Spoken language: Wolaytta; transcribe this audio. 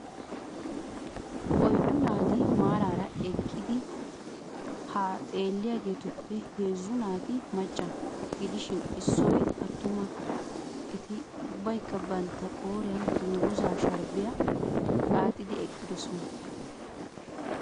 Oyddu naati maarara eqqidi ha xeelliyaageetuppe heezzu naati macca gidishin issoy atuma eti ubbaykka bantta qooriyan dungguzza sharbbiyaa xaaxidi eqqidoosona.